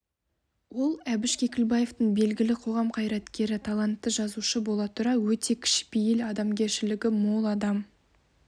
ол әбіш кекілбаевтың белгілі қоғам қайраткері талантты жазушы бола тұра өте кішіпейіл адамгершілігі мол адам